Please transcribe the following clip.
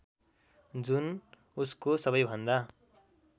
जुन उसको सबैभन्दा